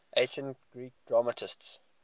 ancient greek dramatists